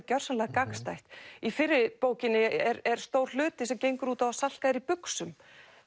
gjörsamlega gagnstætt í fyrri bókinni er stór hluti sem gengur út á að Salka er í buxum